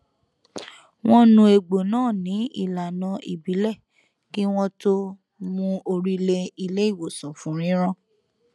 wọn nu egbò náà nin ìlànà ìbílẹ kí wọn tó mú orí lé ilé ìwòsàn fún rírán